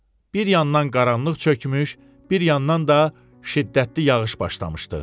Bir yandan qaranlıq çökmüş, bir yandan da şiddətli yağış başlamışdı.